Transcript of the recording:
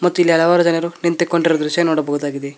ಮತ್ತು ಇಲ್ಲಿ ಹಲವಾರು ಜನರು ನಿಂತುಕೊಂಡಿರುವ ದೃಶ್ಯ ನೋಡಬಹುದಾಗಿದೆ.